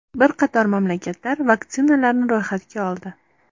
Bir qator mamlakatlar vaksinalarni ro‘yxatga oldi.